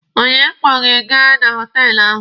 Onye kpọ gị gaa na họtelụ ahụ?